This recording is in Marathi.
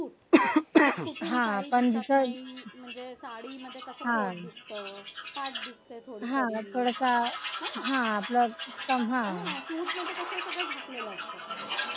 साडीमध्ये कस पोट दिसत म्हणजे कस पाठ दिसते थोडीशी हे ना सूट मध्ये कस झाकलेलं असत सगळं